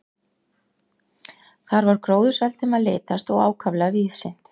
Þar var gróðursælt um að litast og ákaflega víðsýnt.